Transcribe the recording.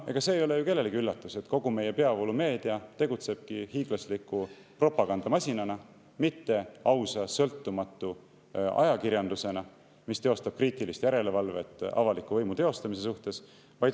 Ega see ei ole ju kellelegi üllatus, et kogu meie peavoolumeedia tegutsebki hiiglasliku propagandamasinana, mitte ausa ja sõltumatu ajakirjandusena, mis teostab kriitilist järelevalvet avaliku võimu teostamise üle.